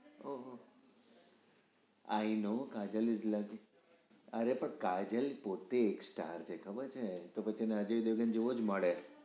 ઓં હો i know Kajal is lucky અરે પણ કાજલ પોતે એક star છે તો એને અજય દેવગન જેવો જ મળે ઓ